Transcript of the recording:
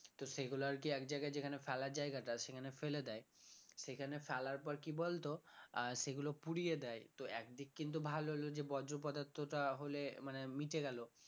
তো সেগুলো আর কি এক জায়গায় যেখানে ফেলার জায়গাটা সেখানে ফেলে দেয় সেখানে ফেলার পর কি বলতো আহ সেগুলো পুড়িয়ে দেয় তো এক দিক কিন্তু ভালো হলো যে বর্জ্য পদার্থটা হলে মানে মিশে গেল